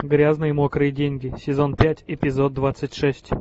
грязные мокрые деньги сезон пять эпизод двадцать шесть